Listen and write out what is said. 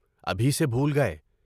ابھی سے بھول گئے۔